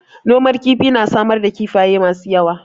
Noman kifi na samar da kifafye masu yawa.